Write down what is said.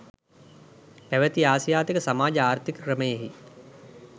පැවති ආසියාතික සමාජ ආර්ථීක ක්‍රමයෙහි